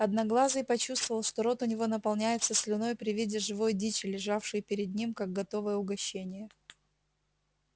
одноглазый почувствовал что рот у него наполняется слюной при виде живой дичи лежавшей перед ним как готовое угощение